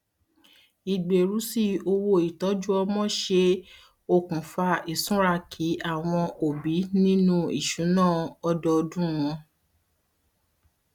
ìgbèrú sí owó ìtọjú ọmọ ṣe um okùnfà ìsúnraki àwọn òbí nínu um ìṣùnà ọdọọdún wọn